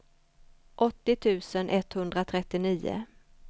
åttio tusen etthundratrettionio